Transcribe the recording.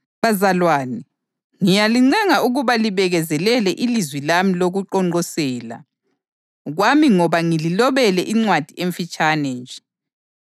Bazalwane, ngiyalincenga ukuba libekezelele ilizwi lami lokuqonqosela kwami ngoba ngililobele incwadi emfitshane nje.